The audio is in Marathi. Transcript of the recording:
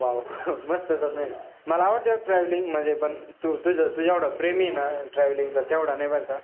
Wow मस्तच आहे. मला travelling आवडते, म्हणजे पण तुझ्या एवढा प्रेमी ना travel चा तेवढा नाही बरं का,